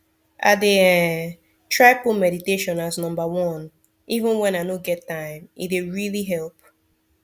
i dey um try put meditation as number oneeven when i no get time e dey really help